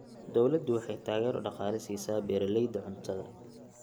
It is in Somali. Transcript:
Dawladdu waxay taageero dhaqaale siisaa beeralayda cuntada.